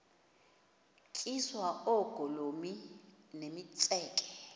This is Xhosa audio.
tyiswa oogolomi nemitseke